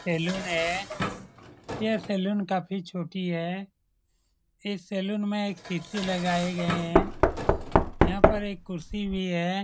Salon है यह saloon काफी छोटी है इस सैलून में एक सी.पी.यू. लगाई गए है यहां पर एक कुर्सी भी है।